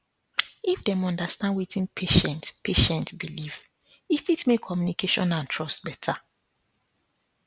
if dem understand wetin patient patient believe e fit make communication and trust better